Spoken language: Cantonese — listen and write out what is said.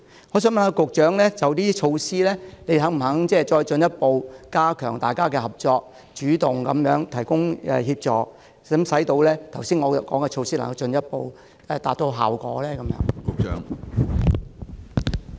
我想問局長，就上述的措施，當局是否願意再進一步加強與各方面的合作，主動提供協助，使我剛才提出的措施能夠進一步收效？